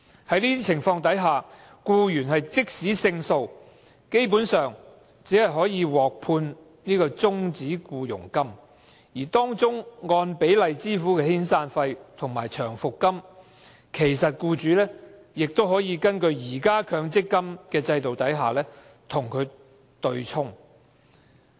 在這種情況下，僱員即使勝訴，基本上只可獲判終止僱傭金，而僱員應獲得的按比例支付的遣散費和長期服務金，僱主亦可根據現行的強制性公積金制度對沖安排，與之對沖。